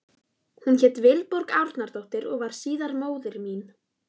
Hún hét Vilborg Árnadóttir og varð síðar móðir mín.